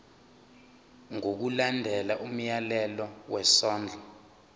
ngokulandela umyalelo wesondlo